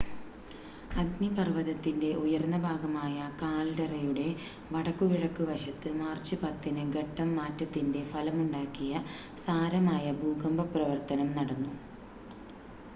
അഗ്നിപർവ്വതത്തിൻ്റെ ഉയർന്ന ഭാഗമായ കാൽഡെറയുടെ വടക്കുകിഴക്ക് വശത്ത് മാർച്ച് 10-ന് ഘട്ടം മാറ്റത്തിൻ്റെ ഫലമുണ്ടാക്കിയ സാരമായ ഭൂകമ്പ പ്രവർത്തനം നടന്നു